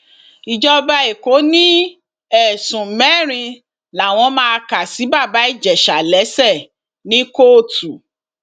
ìjọba ẹkọ ní ẹsùn mẹrin làwọn máa kà sí bàbá ìjẹsà lẹsẹ ní kóòtù